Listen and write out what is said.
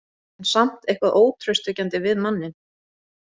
En samt eitthvað ótraustvekjandi við manninn.